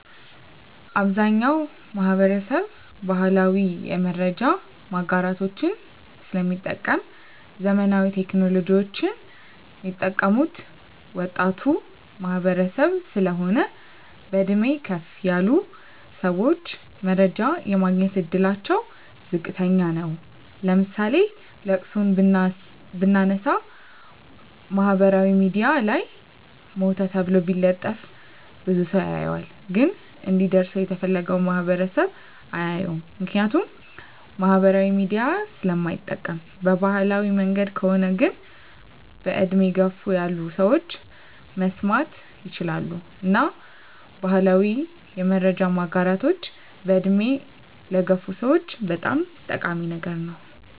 አብዛኛዉ ማህበረሰብ ባህላዊ የመረጃ ማጋራቶችን ስለሚጠቀም ዘመናዊ ቴክኖሎጂወችን ሚጠቀሙት ወጣቱ ማህበረሰብ ስለሆን በእድሜ ከፍ ያሉ ሰወች መረጃ የማግኘት እድላቸዉ ዝቅተኛ ነዉ ለምሳሌ ለቅሶን ብናነሳ ማህበራዊ ሚድያ ላይ ሞተ ተብሎ ቢለጠፍ ብዙ ሰዉ ያየዋል ግን እንዲደርሰዉ የተፈለገዉ ማህበረሰብ አያየዉም ምክንያቱም ማህበራዊ ሚዲያ ስለማይጠቀም በባህላዊ መንገድ ከሆነ ግን በእድሜ ገፋ ያሉ ሰወች መስማት ይችላሉ እና ባህላዊ የመረጃ ማጋራቶች በእድሜ ለገፉ ሰወች በጣም ጠቃሚ ነገር ነዉ